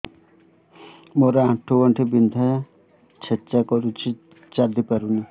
ମୋର ଆଣ୍ଠୁ ଗଣ୍ଠି ବିନ୍ଧା ଛେଚା କରୁଛି ଚାଲି ପାରୁନି